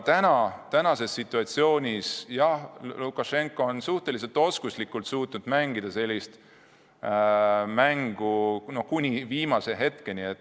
Ja praeguses situatsioonis on Lukašenka kuni viimase ajani suutnud suhteliselt oskuslikult mängida.